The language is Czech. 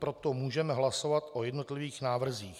Proto můžeme hlasovat o jednotlivých návrzích.